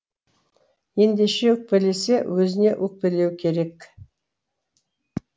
ендеше өкпелесе өзіне өкпелеуі керек